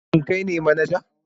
Shin kai ne manaja?